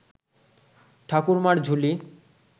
Thakurmar Jhuli